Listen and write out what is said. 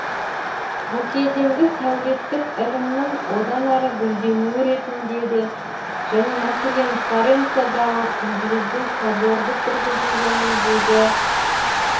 бұл кезеңді сәулеттік ілімнің одан әрі гүлденуі ретінде де және мәселен флоренциядағы күмбезді соборды тұрғызу жөніндегі